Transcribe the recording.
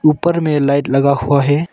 ऊपर में लाइट लगा हुआ है।